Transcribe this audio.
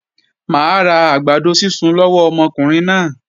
Mà á ra àgbàdo sísun lọ́wọ́ ọmọkùnrin náà.